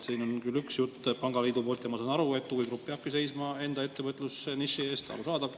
Siin on küll üks jutt pangaliidu poolt ja ma saan aru, et huvigrupp peabki seisma enda ettevõtlusniši eest, arusaadav.